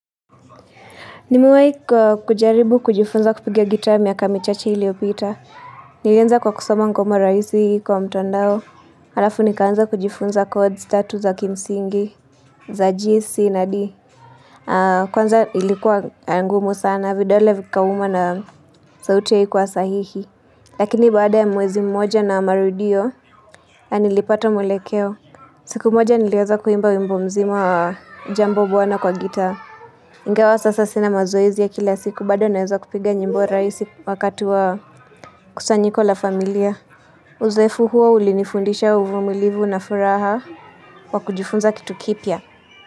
Nimewahi kujaribu kujifunza kupiga gita miaka michache iliopita. Nilianza kwa kusoma ngoma rahisi kwa mtandao. Halafu nikaanza kujifunza kodzi tatu za kimsingi, za G, C na D. Kwanza ilikuwa ngumu sana, vidole vikauma na sauti ya ikuwa sahihi. Lakini bada ya mwezi mmoja na marudio, nilipata mwelekeo. Siku mmoja nileza kuimba wimbo mzima wa jambo bwana kwa gita. Ingawa sasa sina mazoezi ya kila siku bado naweza kupiga nyimbo rahisi wakatu wa kusanyiko la familia. Uzoefu huo ulinifundisha uvumilivu na furaha wa kujifunza kitu kipya.